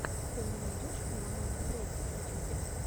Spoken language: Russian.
ты мне найдешь милламана фрэди в ютюбе